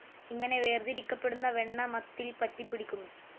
ഇങ്ങനെ വേർതിരിക്കപെടുന്ന വെണ്ണ മത്തിൽ പറ്റിപ്പിടിക്കുന്നു.